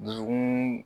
Dusukun